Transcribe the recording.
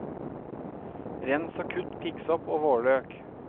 Rens og kutt piggsopp og vårløk.